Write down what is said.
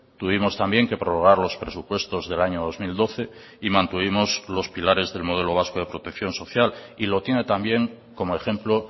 tuvimos también que prorrogar los presupuestos del año dos mil doce y mantuvimos los pilares del modelo vasco de protección social y lo tiene también como ejemplo